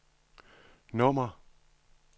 nummer